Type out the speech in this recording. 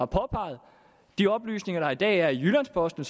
påpeget og de oplysninger der i dag er i jyllands posten